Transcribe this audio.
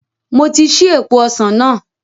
Mo ti ṣí èèpo ọsàn náà